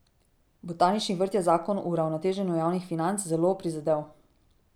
Botanični vrt je zakon o uravnoteženju javnih financ zelo prizadel.